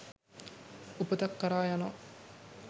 උපතක් කරා යනවා.